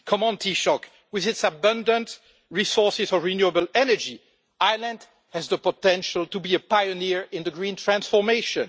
Come on, Taoiseach, with its abundant resources for renewable energy, Ireland has the potential to be a pioneer in green transformation.